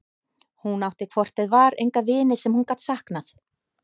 Hún átti hvort eð var enga vini sem hún gat saknað.